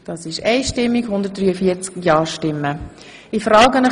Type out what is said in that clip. Sie haben auch Titel und Ingress angenommen.